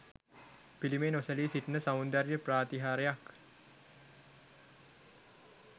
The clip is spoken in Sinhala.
පිළිමය නොසැලී සිටින සෞන්දර්ය ප්‍රාතිහාර්යක්.